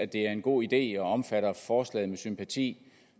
det er en god idé og omfatter forslaget med sympati